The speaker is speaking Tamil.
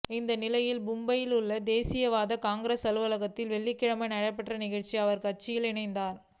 இந்நிலையில் மும்பையில் உள்ள தேசியவாத காங்கிரஸ் அலுவலகத்தில் வெள்ளிக்கிழமை நடைபெற்ற நிகழ்ச்சியில் அவா் அக்கட்சியில் இணைந்தாா்